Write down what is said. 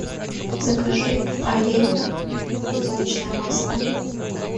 закажи олейна подсолнечное масло